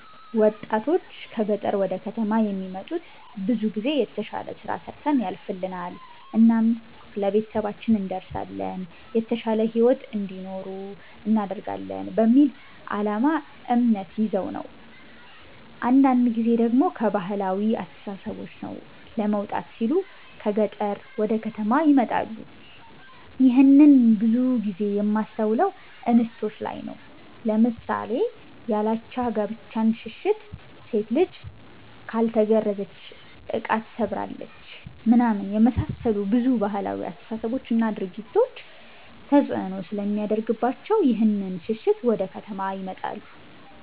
ወጣቶች ከ ገጠር ወደ ከተማ የሚመጡት ብዙ ጊዜ የተሽለ ስራ ሰርተን ያልፍልናል እናም ለቤተሰባችን እንደርሳለን የተሻለ ሂዎት እንዲኖሩ እናደርጋለን በሚል አላማ እምነት ይዘው ነው ነው። አንዳንድ ጊዜ ደሞ ከ ባህላዊ አስተሳሰቦች ነፃ ለመውጣት ሲሉ ከ ገጠር ወደ ከተማ ይመጣሉ ይህንን ብዙ ጊዜ የማስተውለው እንስቶች ላይ ነው ለምሳሌ ያላቻ ጋብቻን ሽሽት፣ ሴት ልጅ ካልተገረዘች እቃ ትሰብራለች ምናምን የመሳሰሉ ብዙ ባህላዊ አስተሳሰቦች እና ድርጊቶች ተፅእኖ ስለሚያደርግባቸው ይህንን ሽሽት ወደ ከተማ ይመጣሉ።